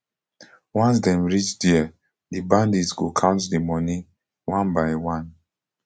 once dem reach dia di bandit go count di moni one by one